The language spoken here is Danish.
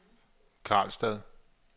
Karlstad